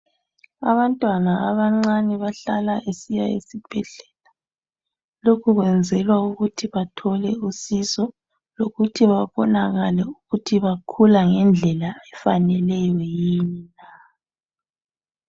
Abantwana abacane bahlala besiya esibhedlela lokhu kwenzelwa ukuthi bathole usizo ukuthi babonakale ukuthi bakhula ngendlela efaneleyo yini.